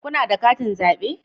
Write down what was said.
Kuna da katin zabe?